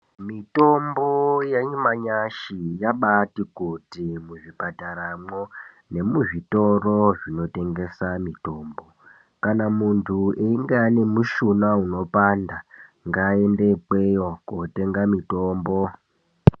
Mitombo yanyamashi yabati kuti muzvipataramwo nemuzvitoro zvinotengeswa mitombo kana muntu einga ane mushuna unopanda ngaaende ikweyo kunotenga mitombo.